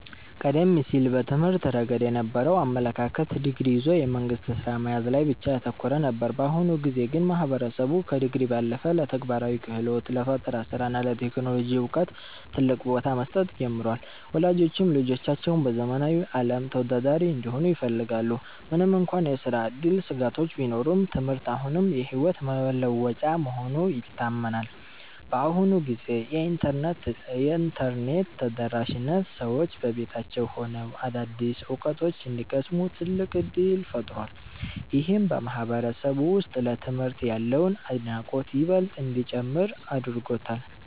ቀደም ሲል በትምህርት ረገድ የነበረው አመለካከት ዲግሪ ይዞ የመንግሥት ሥራ መያዝ ላይ ብቻ ያተኮረ ነበር። በአሁኑ ጊዜ ግን ማህበረሰቡ ከዲግሪ ባለፈ ለተግባራዊ ክህሎት፣ ለፈጠራ ሥራ እና ለቴክኖሎጂ ዕውቀት ትልቅ ቦታ መስጠት ጀምሯል። ወላጆችም ልጆቻቸው በዘመናዊው ዓለም ተወዳዳሪ እንዲሆኑ ይፈልጋሉ። ምንም እንኳን የሥራ ዕድል ስጋቶች ቢኖሩም፣ ትምህርት አሁንም የሕይወት መለወጫ መሆኑ ይታመናል። በአሁኑ ጊዜ የኢንተርኔት ተደራሽነት ሰዎች በቤታቸው ሆነው አዳዲስ ዕውቀት እንዲቀስሙ ትልቅ ዕድል ፈጥሯል። ይህም በማህበረሰቡ ውስጥ ለትምህርት ያለውን አድናቆት ይበልጥ እንዲጨምር አድርጎታል።